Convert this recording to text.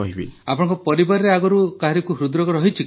ଆପଣଙ୍କ ପରିବାରରେ ଆଗରୁ କାହାରିକୁ ହୃଦରୋଗ ରହିଛି କି